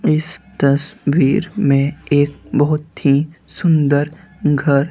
इस तस वीर में एक बहुत ही सुंदर घर--